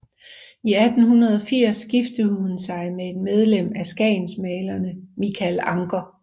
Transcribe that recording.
I 1880 giftede hun sig med et medlem af skagensmalerne Michael Ancher